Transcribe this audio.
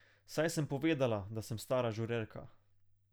Saj sem povedala, da sem stara žurerka.